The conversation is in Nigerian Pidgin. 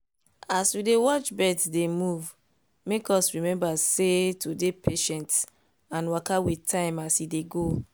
as we dey watch birds dey move make us remember sey to dey patient and waka with time as e dey go.